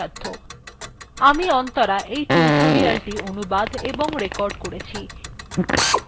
আমি অন্তরা এই টিউটোরিয়ালthe অনুবাদ এবং রেকর্ড করেছি শুভবিদায়